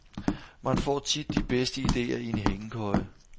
Man får tit de bedste idéer i en hængekøje.